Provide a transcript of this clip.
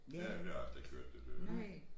Ja men det har jeg slet ikke hørt det blev